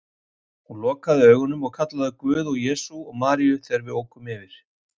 Hún lokaði augunum og kallaði á Guð og Jesú og Maríu þegar við ókum yfir